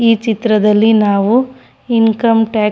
ಈ ಚಿತ್ರದಲ್ಲಿ ನಾವು ಇಂಕಮ್ ಟ್ಯಾಕ್ಸ್ --